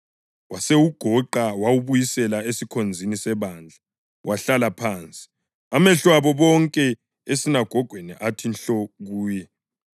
Wasewugoqa, wawubuyisela esikhonzini sebandla, wahlala phansi. Amehlo abo bonke esinagogweni athi nhlo kuye,